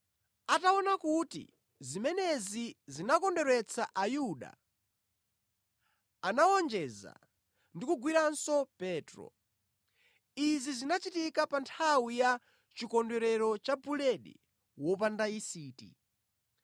Ataona kuti zimenezi zinakondweretsa Ayuda, anawonjeza ndi kugwiranso Petro. Izi zinachitika pa nthawi ya Chikondwerero cha Buledi wopanda Yisiti.